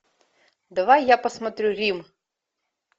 давай я посмотрю рим